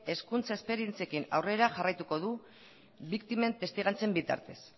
hezkuntza esperientziekin aurrera jarraituko du biktimen testigantzen bitartez